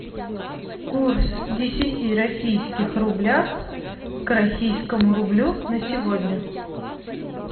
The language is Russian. курс десяти российских рублях к российскому рублю на сегодня